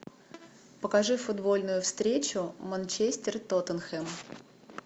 покажи футбольную встречу манчестер тоттенхэм